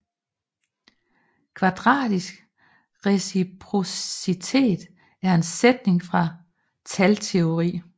Kvadratisk reciprocitet er en sætning fra Talteori